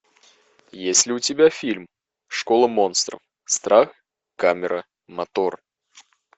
есть ли у тебя фильм школа монстров страх камера мотор